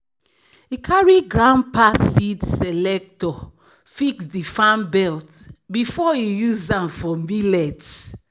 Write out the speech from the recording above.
"e carry grandpa seed separator fix di fan belt before e use am for millet."